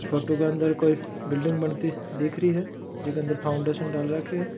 फोटो के अंदर कोई बिल्डिंग बनती दिख रही है जीके अंदर फाउंडेशन डाल रखे है।